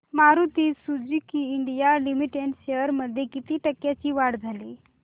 Maruti Suzuki India limited shares मध्ये किती टक्क्यांची वाढ झाली